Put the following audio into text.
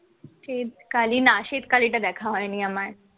শ্বেতকালী না শ্বেতকালীটা দেখা হয়নি আমার